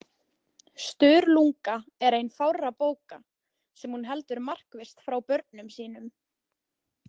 Sturlunga er ein fárra bóka sem hún heldur markvisst frá börnum sínum.